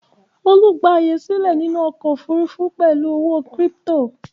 Olú gba àyè sílẹ̀ nínú ọkọ̀-òfurufú pẹ̀lú ọ̀wọ́ kírípító.